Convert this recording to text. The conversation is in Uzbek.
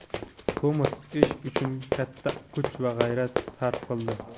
Tomas ish uchun katta kuch va g‘ayrat sarf qildi.